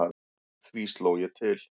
Því sló ég til.